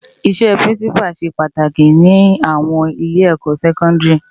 Isè Pirinsipá sé pàtáki ni áwòn ilé èkò sèkòndiri